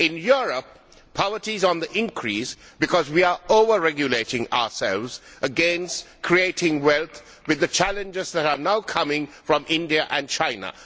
In Europe, poverty is on the increase because we are over regulating ourselves against creating wealth when challenges are now coming from India and China.